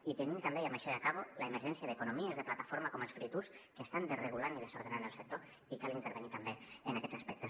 i tenim també i amb això ja acabo l’emergència d’economies de plataforma com els free tours que estan desregulant i desordenant el sector i cal intervenir també en aquests aspectes